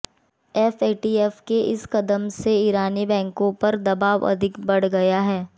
FATF के इस क़दम से ईरानी बैंकों पर दबाव अधिक बढ़ गया है